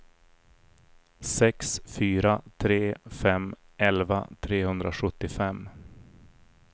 sex fyra tre fem elva trehundrasjuttiofem